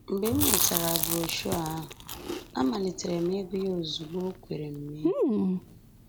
Mgbe m nwetara broshuọ ahụ, amalitere m ịgụ ya ozugbo o kwere m mee